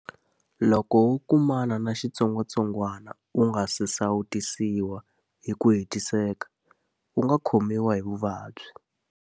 Loko wo kumana na xitsongwatsongwana u nga si sawutisiwa hi ku hetiseka, u nga khomiwa hi vuvabyi.